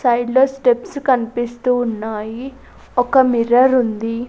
Side లో steps కన్పిస్తూ ఉన్నాయి ఒక మిర్రరుంది .